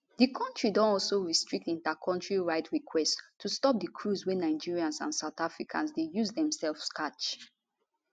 di kontri don also restrict intercountry ride requests to stop di cruise wey nigerians and south africans dey use demsefs catch